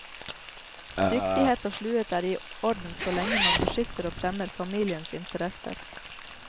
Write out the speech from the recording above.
Dyktighet og sluhet er i orden så lenge man beskytter og fremmer familiens interesser.